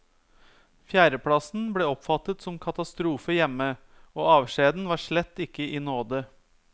Fjerdeplass ble oppfattet som katastrofe hjemme, og avskjeden var slett ikke i nåde.